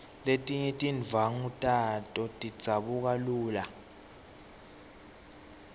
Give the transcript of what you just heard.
letinye tindvwangu tato tidzabuka lula